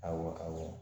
Awɔ